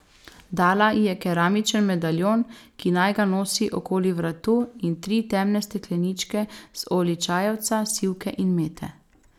Dala ji je keramičen medaljon, ki naj ga nosi okoli vratu, in tri temne stekleničke z olji čajevca, sivke in mete.